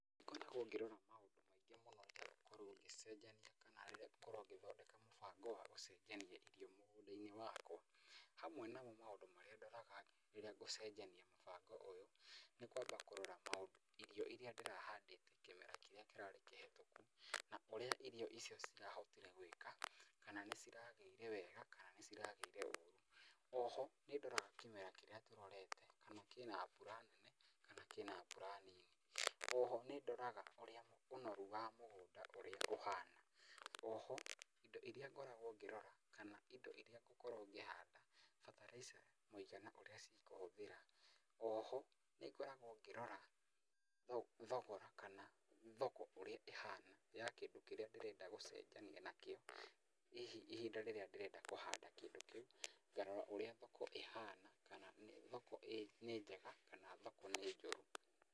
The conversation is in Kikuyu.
Nĩ ngoragwo ngĩrora maũndũ maingĩ mũno rĩrĩa ngũkorwo ngĩcenjania kana ngũkorwo ngĩthondeka mũbango wa gũcenjania irio mũgũnda-inĩ wakwa. Hamwe namo maũndũ marĩa ndoraga rĩrĩa ngũcenjania mũbango ũyũ, nĩ kwamba kũrora irio irĩa ndĩrahandĩte kĩmera kĩrĩa kĩrarĩ kĩhĩtũku, na ũrĩa irio icio cirahotire gwĩka, kana nĩ ciragĩire wega kana nĩ ciragĩire ũru. Oho nĩ ndoraga kĩmera kĩrĩa tũrorete kana kĩna mbura nene kana kĩna mbura nini. Oho nĩ ndoraga ũnoru wa mũgũnda ũrĩa ũhana. Oho indo irĩa ngoragwo ngĩrora kana indo irĩa ngũkorwo ngĩhanda, bataraitha mũigana ĩrĩa cikũhũthĩra. Oho nĩ ngoragwo ngĩrora thogora kana thoko ũrĩa ĩhana ya kĩndũ kĩrĩa ndĩrenda gũcenjania nakĩo. Hihi ihinda rĩrĩra ndĩrenda kũhanda kĩndũ kĩu ngarora ũrĩa thoko ĩhana, kana thoko nĩ njega kana thoko nĩ njũru.